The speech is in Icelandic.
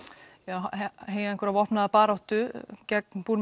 heyja vopnaða baráttu gegn